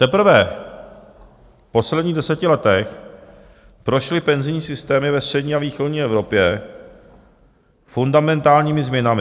Teprve v posledních deseti letech prošly penzijní systémy ve střední a východní Evropě fundamentálními změnami.